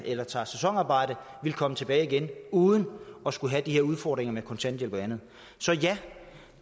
eller tager sæsonarbejde komme tilbage igen uden at skulle have de her udfordringer med kontanthjælp og andet så ja